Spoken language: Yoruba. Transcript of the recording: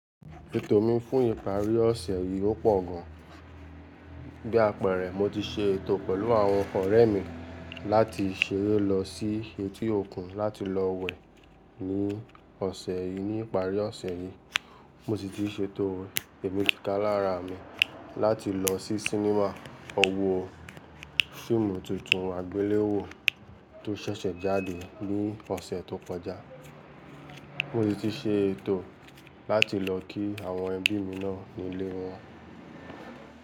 Ètò mi fún ìparí ọ̀sẹ̀ yìí ó pọ̀ gan. Bí àpẹẹrẹ, mo ti ṣe ètò pẹ̀lú àwọn ọ̀rẹ́ mi láti ṣèrè lọ sí etí òkun láti lọ wẹ̀ ní ọ̀sẹ̀ yìí. Ní ìparí ọ̀sẹ̀ yìí, mo ti se ètò ẹ̀mí kíkà lára mi láti lọ sí sinemá wo fíìmù tuntun àgbéléwò tó ṣẹ̀ṣẹ̀ jáde ní ọ̀sẹ̀ tó kọjá. Mo ti se ètò láti lọ kí àwọn ẹbí mi náà nílé wọn.